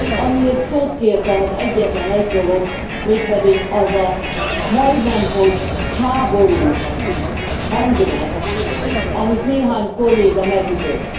Amiért szót kértem, az egyetlen egy dolog, mégpedig az a majdnem hogy háborús hangnem, amit néhány kolléga megütött.